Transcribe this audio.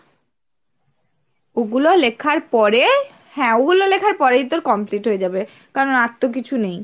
ওগুলো লেখার পরে হ্যাঁ, ওগুলো লেখার পরেই তোর complete হয়ে যাবে. কারণ আর তো কিছু নেই।